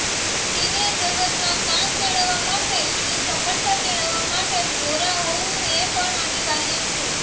સિનેજગતમાં કામ મેળવવા માટે અને સફળતા મેળવવા માટે ગોરા હોવું પણ અનિવાર્ય છે